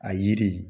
A yiri